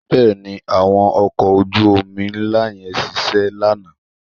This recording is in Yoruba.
Bẹ́ẹ̀ni, àwọn ọkọ̀ ojú-omi ńlá yẹn ṣiṣẹ́ lánàá?